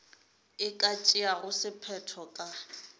e ka tšeago sephetho ka